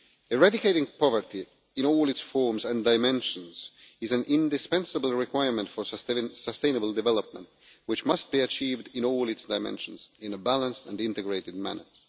Eradicating poverty in all its forms and dimensions is an indispensable requirement for sustainable development, which must be achieved in all its dimensions in a balanced and integrated manner.